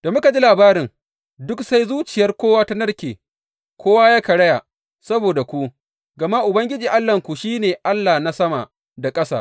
Da muka ji labarin, duk sai zuciyar kowa ta narke, kowa ya karaya saboda ku, gama Ubangiji Allahnku shi ne Allah na sama da ƙasa.